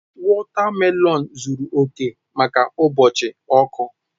Wotamelons zuru oke maka ụbọchị ọkụ.